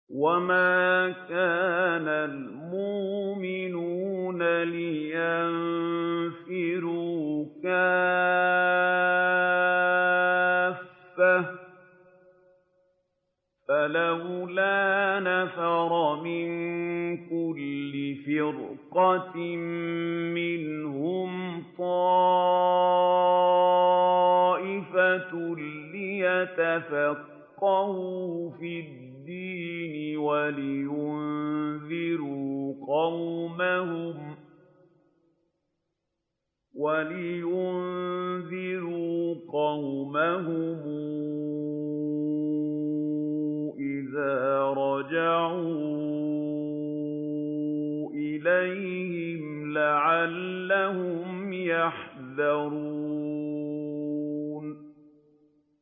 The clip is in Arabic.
۞ وَمَا كَانَ الْمُؤْمِنُونَ لِيَنفِرُوا كَافَّةً ۚ فَلَوْلَا نَفَرَ مِن كُلِّ فِرْقَةٍ مِّنْهُمْ طَائِفَةٌ لِّيَتَفَقَّهُوا فِي الدِّينِ وَلِيُنذِرُوا قَوْمَهُمْ إِذَا رَجَعُوا إِلَيْهِمْ لَعَلَّهُمْ يَحْذَرُونَ